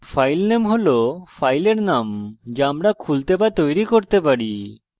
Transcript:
filename হল file name যা আমরা খুলতে বা তৈরী করতে পারি